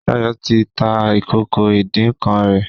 Shayo tí tá ìkókó idin nkán rè